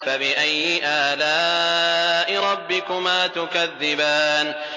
فَبِأَيِّ آلَاءِ رَبِّكُمَا تُكَذِّبَانِ